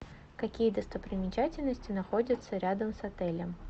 какие достопримечательности находятся рядом с отелем